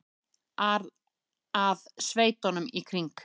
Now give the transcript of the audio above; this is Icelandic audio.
ar að sveitunum í kring.